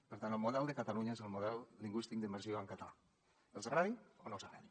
per tant el model de catalunya és el model lingüístic d’immersió en català els agradi o no els agradi